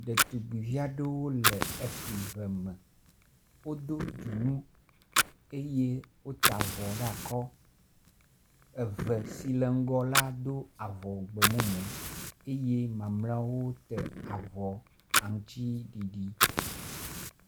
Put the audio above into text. Ɖetugbivi aɖewo le efli ve me. Wodo dzonu eye wota avɔ ɖe akɔ. Eve si le ŋgɔ la do avɔ gbemumu eye mamleawo ta av aŋtsiɖiɖi.